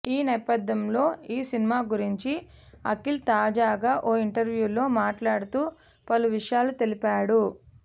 ఈ నేపథ్యంలో ఈ సినిమా గురించి అఖిల్ తాజాగా ఓ ఇంటర్వ్యూలో మాట్లాడుతూ పలు విషయాలు తెలిపాడు